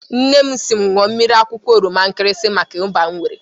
Nnem siri m ñua mmiri akwụkwọ oroma nkrisi maka iba m nwere.